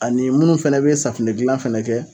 Ani munnu fana be safunɛ dilan fɛnɛ kɛ